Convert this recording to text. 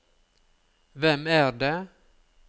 hvem er det